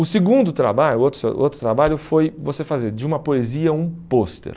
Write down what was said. O segundo trabalho, o outro outro trabalho, foi você fazer de uma poesia um pôster.